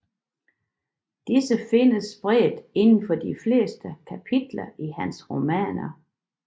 Disse findes spredt indenfor de fleste kapitler i hans romaner